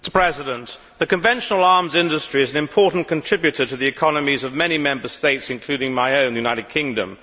Mr President, the conventional arms industry is an important contributor to the economies of many Member States, including my own, the United Kingdom.